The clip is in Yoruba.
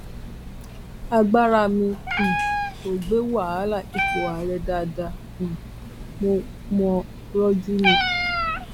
agbára mi um kò gbé wàhálà ipò àárẹ dáadáa um mo mò ń rojú ni